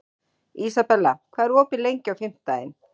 Ísabella, hvað er opið lengi á fimmtudaginn?